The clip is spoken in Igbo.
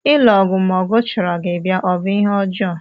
Ilu ọgụ ma ọgụ chọrọ gị bịa ọ bụ ihe ọjọọ?